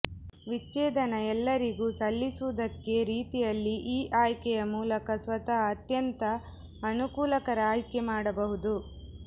ವಿಚ್ಛೇದನ ಎಲ್ಲರಿಗೂ ಸಲ್ಲಿಸುವುದಕ್ಕೆ ರೀತಿಯಲ್ಲಿ ಈ ಆಯ್ಕೆಯ ಮೂಲಕ ಸ್ವತಃ ಅತ್ಯಂತ ಅನುಕೂಲಕರ ಆಯ್ಕೆ ಮಾಡಬಹುದು